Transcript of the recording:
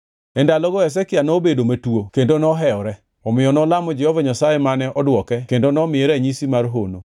E ndalogo Hezekia nobedo matuo kendo nohewore, omiyo nolamo Jehova Nyasaye mane odwoke kendo nomiye ranyisi mar hono.